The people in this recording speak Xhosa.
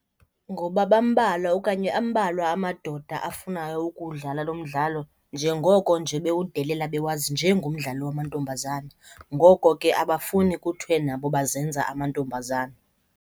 Ngoba bambalwa okanye ambalwa amadoda afunayo ukuwudlala loo mdlalo njengoko nje bewudelela bekwazi njengomdlalo wamantombazana. Ngoko ke abafuni kuthiwe nabo bazenza amantombazana.